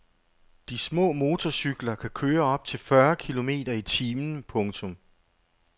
De små motorcykler kan køre op til fyrre kilometer i timen. punktum